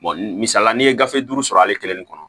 misali la n'i ye gafe duuru sɔrɔ ale kelen de kɔnɔ